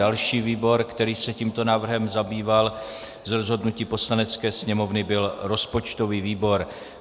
Další výbor, který se tímto návrhem zabýval z rozhodnutí Poslanecké sněmovny, byl rozpočtový výbor.